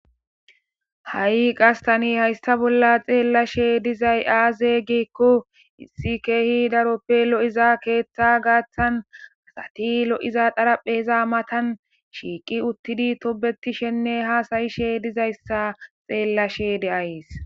Ha'i qastani haysta bolla xeellashe dizay aaze giikko issi keehi daroppe lo'iza keeththa gaaththan asati lo'iza dharapheza matan shiiqi uttidi tobetishenne haasayishe dizayssa xeellashe de'ayes.